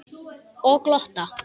Og glotta.